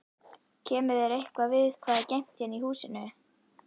Kemur þér eitthvað við hvað er geymt hérna í húsinu?